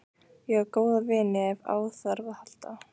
Ég á góða vini ef á þarf að halda.